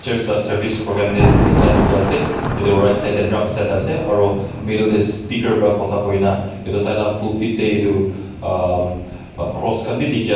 service program netan nisna dekhi ase aru right side te trumset ase aru middle te speaker para kotha koina etu tail laga popit te etu aa cross khan bhi dekhi pai ase.